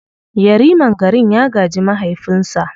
Yariman garin ya gaji mahaifinsa.